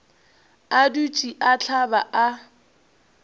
a dutše a hlaba a